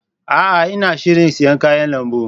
A'a! Ina shirin siyan kayan lambu.